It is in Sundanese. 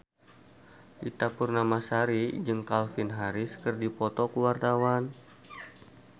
Ita Purnamasari jeung Calvin Harris keur dipoto ku wartawan